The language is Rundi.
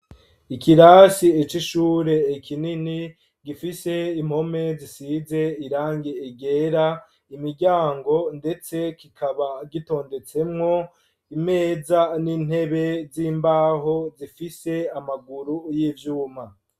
Ikirasi c'ishure kinin, gifise impome zisize irangi ryera, imiryango ndetse kikaba gitondetsemwo imeza n'intebe z'imbaho zifise amaguru y'ivyuma.